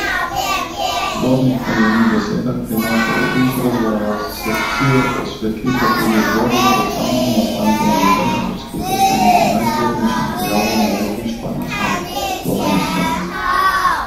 Zbornik po njenih besedah prinaša oris razvoja sekcije, osvetli pa tudi obdobje pred samim nastankom gibanja ter skuša slediti najzgodnejšim pojavom lezbištva na Slovenskem.